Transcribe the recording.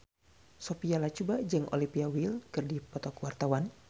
Sophia Latjuba jeung Olivia Wilde keur dipoto ku wartawan